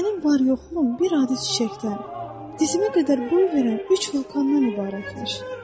Mənim var-yoxum bir adi çiçəkdən, dizimə qədər boy verən üç vulkandan ibarətmiş.